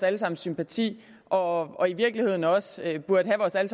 alle sammens sympati og i virkeligheden også burde have vores alle